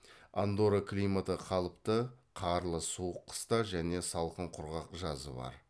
андорра климаты қалыпты қарлы суық қыста және салқын құрғақ жазы бар